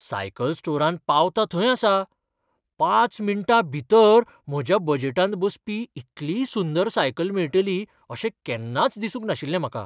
Cycle स्टोरांत पावतां थंय आसां, पांच मिनटां भितर म्हज्या बजेटांत बसपी इतली सुंदर सायकल मेळटली अशें केन्नाच दिसूंक नाशिल्लें म्हाका.